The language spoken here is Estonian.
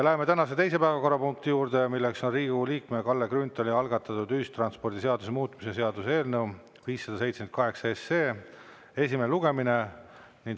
Läheme tänase teise päevakorrapunkti juurde, milleks on Riigikogu liikme Kalle Grünthali algatatud ühistranspordiseaduse muutmise seaduse eelnõu 578 esimene lugemine.